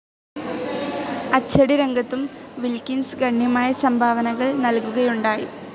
അച്ചടിരംഗത്തും Wilkins ഗണ്യമായ സംഭാവനകൾ നൽകുകയുണ്ടായി.